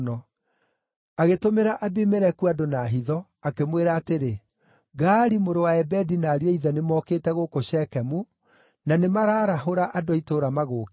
Agĩtũmĩra Abimeleku andũ na hitho, akĩmwĩra atĩrĩ, “Gaali mũrũ wa Ebedi na ariũ a ithe nĩmokĩte gũkũ Shekemu, na nĩmararahũra andũ a itũũra magũũkĩrĩre.